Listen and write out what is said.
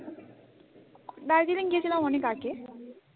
দার্জিলিং গিয়েছিলাম অনেক আগে